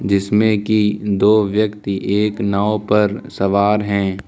जिसमें की दो व्यक्ति एक नाव पर सवार हैं।